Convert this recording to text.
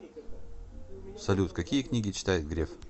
салют какие книги читает греф